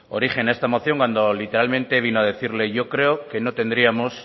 origen a esta moción cuando literalmente vino a decirle yo creo que no tendríamos